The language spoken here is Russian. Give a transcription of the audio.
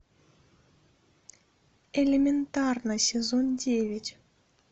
элементарно сезон девять